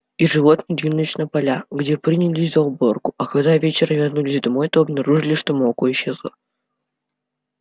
и животные двинулись на поля где принялись за уборку а когда вечером вернулись домой то обнаружили что молоко исчезло